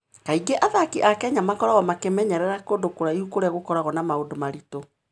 Kaingĩ athaki a Kenya makoragwo makĩmenyerera kũndũ kũraihu kũrĩa gũkoragwo na maũndũ maritũ.